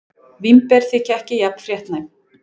Vínber þykja ekki jafn fréttnæm.